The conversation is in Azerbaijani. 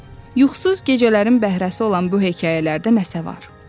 Yuxusuz gecələrin bəhrəsi olan bu hekayələrdə nəsə var.